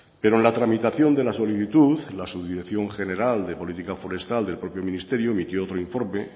pero en la tramitación de la solicitud la subdirección general de política forestal del propio ministerio emitió otro informe